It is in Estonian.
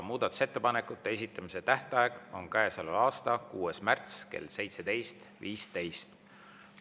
Muudatusettepanekute esitamise tähtaeg on käesoleva aasta 6. märts kell 17.15.